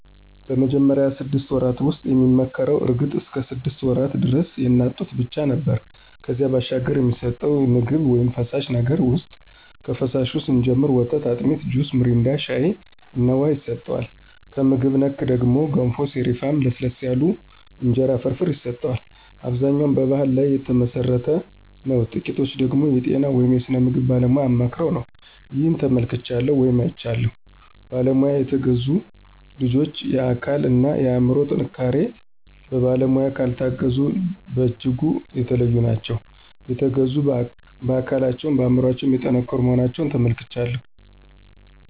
በመጀመሪያው ስድስት ወራት ውስጥ የሚመከረው እርግጥ እስከ ሰድስት ወራት ደረስ የእናት ጡት ብቻ ነው ነበር ከዚያ ባሻገር የሚሰጠቸው ምግብ ውይም ፈሳሽ ነገር ውሰጥ ከፈሳሹ ስንጀምር ወተት፣ አጢሚት፣ ጁስ ሚሪንዳ፣ ሻይ እና ውሃ ይሰጠዋል። ከምግብ ነክ ነገር ደግሞ ገንፎ፣ ሰሪፍ፣ ለስለስ ያሉ የእንጀራ ፍርፍር ይሰጠዋል። አብዛኛው በባሕል ላይ ተመሠረተ ነው ጥቂቶቹ ደገሞ የጤና ወይም የስነ ምግብ ባለሙያ አማክረው ነው። ይህን ተመልክቻለሁ ወይም አይቻለሁም። በባለሙያ የተገዙት ልጆች የአካል እና የአምሮ ጥንካሪቸው በባለሙያ ካልታገዙት በጅጉ የተለዩ ናቸው። የተገዙት በአካለቸውም በአምሮቸው የጠንከሩ መሆናቸውን ተመልክቻለሁ።